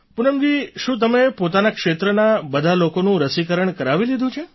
પૂનમજી શું તમે પોતાના ક્ષેત્રના બધા લોકોનું રસીકરણ કરાવી લીધું છે